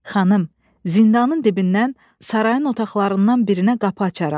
Xanım, zindanın dibindən sarayın otaqlarından birinə qapı açaram.